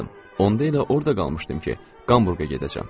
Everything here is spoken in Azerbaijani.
Onda elə orda qalmışdım ki, Qamburqa gedəcəm.